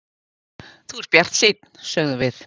Þú ert bjartsýnn, sögðum við.